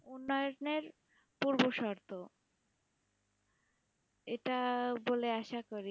উন্নয়নের পূর্ব শর্ত এটা বলে আশা করি